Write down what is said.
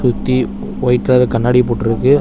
சுத்தி white colour கண்ணாடி போட்ருக்கு.